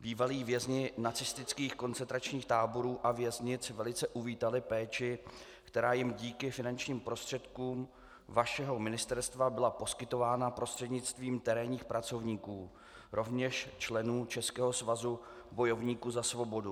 Bývalí vězni nacistických koncentračních táborů a věznic velice uvítali péči, která jim díky finančním prostředkům vašeho ministerstva byla poskytována prostřednictvím terénních pracovníků, rovněž členů Českého svazu bojovníků za svobodu.